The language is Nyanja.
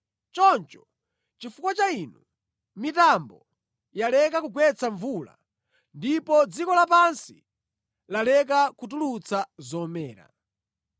Choncho, chifukwa cha inu, mitambo yaleka kugwetsa mvula ndipo dziko lapansi laleka kutulutsa zomera.